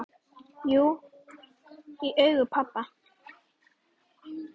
Jú, í augum pabba